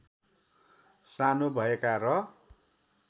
सानो भएका र